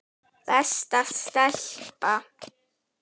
Besta stelpa.